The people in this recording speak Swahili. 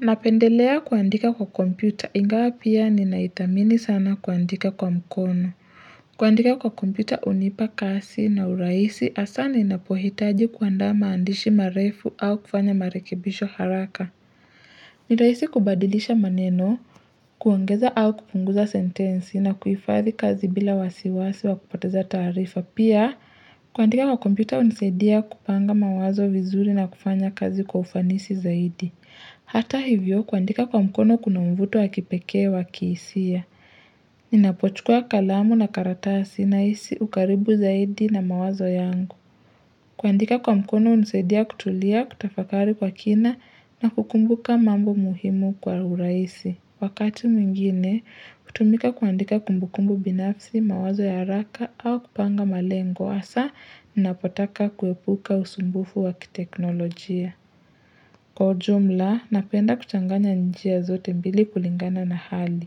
Napendelea kuandika kwa kompyuta ingawa pia ninaithamini sana kuandika kwa mkono. Kuandika kwa kompyuta hunipa kasi na uraisi hasa ninapohitaji kuanda maandishi marefu au kufanya marekebisho haraka. Ni rahisi kubadilisha maneno, kuongeza au kupunguza sentensi na kuifadhi kazi bila wasiwasi wa kupoteza tarifa. Pia kuandika kwa kompyuta hunisaidia kupanga mawazo vizuri na kufanya kazi kwa ufanisi zaidi. Hata hivyo kuandika kwa mkono kuna mvuto wa kipekee wa kihisia. Ninapochukua kalamu na karatasi nahisi ukaribu zaidi na mawazo yangu. Kuandika kwa mkono hunisaidia kutulia kutafakari kwa kina na kukumbuka mambo muhimu kwa urahisi. Wakati mwingine, kutumika kuandika kumbukumbu binafsi mawazo ya haraka au kupanga malengo. Hasa, ninapotaka kuepuka usumbufu wa kiteknolojia. Kwa ujumla, napenda kuchanganya njia zote mbili kulingana na hali.